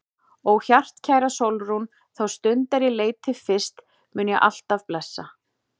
Ó hjartkæra Sólrún, þá stund er ég leit þig fyrst mun ég alt af blessa.